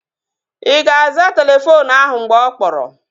Ị ga-aza telefoonu ahụ mgbe ọ kpọrọ?